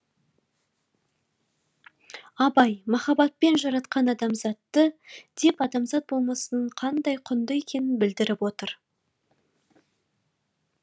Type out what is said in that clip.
абай махаббатпен жаратқан адамзатты деп адамзат болмысының қандай құнды екенін білдіріп отыр